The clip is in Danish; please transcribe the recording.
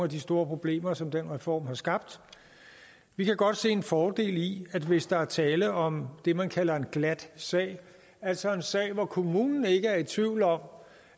de store problemer som den reform har skabt vi kan godt se en fordel i at hvis der er tale om det man kalder en glat sag altså en sag hvor kommunen ikke er i tvivl om